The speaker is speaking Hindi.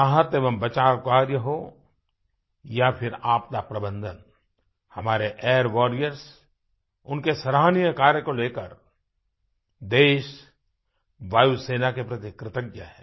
राहत एवं बचाव कार्य हो या फिर आपदा प्रबंधन हमारे एयर वॉरियर्स उनके सराहनीय कार्य को लेकर देश वायुसेना के प्रति कृतज्ञ है